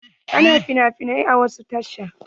Ana finafinai a wasu tashan.